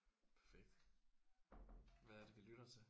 Perfekt. Hvad er det vi lytter til?